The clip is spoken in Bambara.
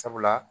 Sabula